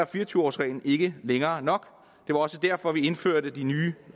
fire og tyve års reglen ikke længere nok det var også derfor vi indførte nye